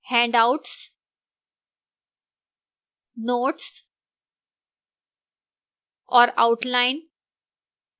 handouts notes और outline